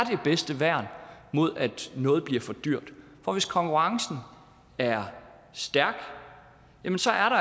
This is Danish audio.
det bedste værn mod at noget bliver for dyrt for hvis konkurrencen er stærk